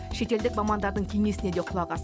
шетелдік мамандардың кеңесіне де құлақ ас